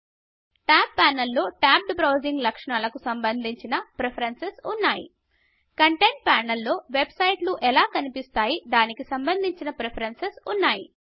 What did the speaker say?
tab panel లో tabbed browsing లక్షణాలకు సంభందించిన ప్రిఫరేన్సుస్ ఉన్నాయి కంటెంట్ ప్యానెల్లో వెబ్సైట్లు ఎలా కనిపిస్తాయి అనే దానికి సంబంధించిన ప్రిఫరెన్సెస్ ఉంటాయి